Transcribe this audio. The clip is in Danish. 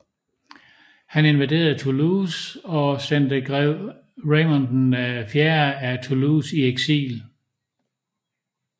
Han invaderede Toulouse og sendte grev Raymond IV af Toulouse i eksil